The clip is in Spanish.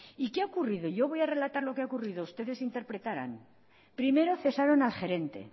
y qué ha ocurrido yo voy a relatar lo que ha ocurrido ustedes interpretarán primero cesaron al gerente